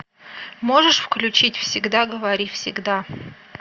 можешь включить всегда говори всегда